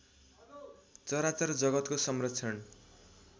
चराचर जगतको संरक्षण